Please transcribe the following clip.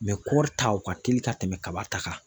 kɔri ta o ka teli ka tɛmɛ kaba ta kan.